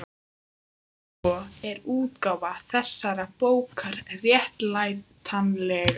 Sé svo er útgáfa þessarar bókar réttlætanleg.